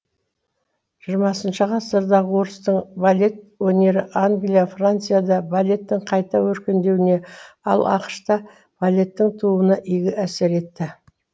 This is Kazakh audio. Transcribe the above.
жиырмасыншы ғасырдағы орыстың балет өнері англия францияда балеттің қайта өркендеуіне ал ақш та балеттің тууына игі әсер етті